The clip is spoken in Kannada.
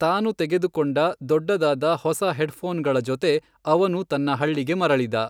ತಾನು ತೆಗೆದುಕೊಂಡ ದೊಡ್ಡದಾದ ಹೊಸ ಹೆಡ್ಫೋನ್ಗಳ ಜೊತೆ ಅವನು ತನ್ನ ಹಳ್ಳಿಗೆ ಮರಳಿದ.